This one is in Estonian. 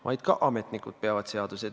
Ma kindlasti ei öelnud teile, et see on ainult 4%.